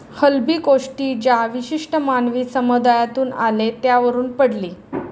हलबी कोष्टी, ज्या विशिष्ट मानवी समुदायातून आले त्यावरून पडली.